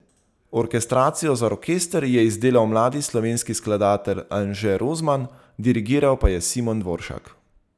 Orkestracijo za orkester je izdelal mladi slovenski skladatelj Anže Rozman, dirigiral pa je Simon Dvoršak.